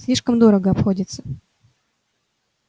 слишком дорого обходится